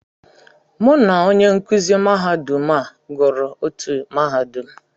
Mụ na onye nkụzi mahadum a gụrụ otú mahadum.